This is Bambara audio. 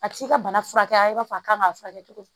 A ti se ka bana furakɛ i b'a fɔ a kan k'a furakɛ cogo di